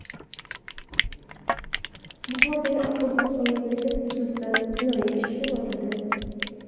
Buxorodagi avtobus halokati yuzasidan jinoiy ish qo‘zg‘atildi.